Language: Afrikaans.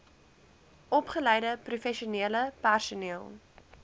opgeleide professionele personeel